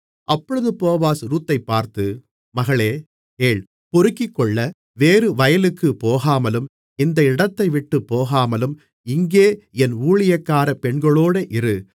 அப்பொழுது போவாஸ் ரூத்தைப்பார்த்து மகளே கேள் பொறுக்கிக்கொள்ள வேறு வயலுக்கு போகாமலும் இந்த இடத்தைவிட்டுப் போகாமலும் இங்கே என் ஊழியக்காரப் பெண்களோடு இரு